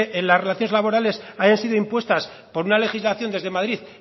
las relaciones laborales hayan sido impuestas por una legislación desde madrid